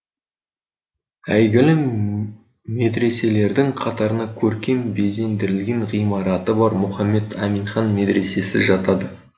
әйгілі медреселердің қатарына көркем безендірілген ғимараты бар мұхаммед аминхан медресесі жатады